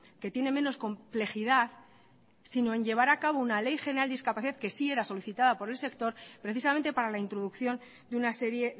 que tiene menos complejidad sino en llevar a cabo una ley general de discapacidad que sí era solicitada por el sector precisamente para la introducción de una serie